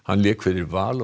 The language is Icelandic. lék fyrir Val og